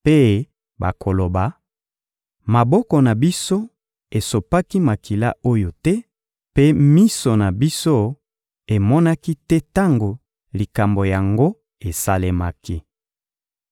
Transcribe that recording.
mpe bakoloba: «Maboko na biso esopaki makila oyo te, mpe miso na biso emonaki te tango likambo yango esalemaki.